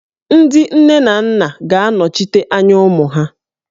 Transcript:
Ndị nne na nna ga-anọchite anya ụmụ ha